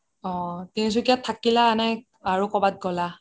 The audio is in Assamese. অহ তিনসুকিয়াত থাকিলা নে আৰু কৰোবাত গ্'লা